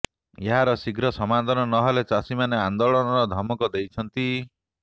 ଏହାର ଶୀଘ୍ର ସମାଧାନ ନହେଲେ ଚାଷୀମାନେ ଆନ୍ଦୋଳନର ଧମକ ଦେଇଛନ୍ତି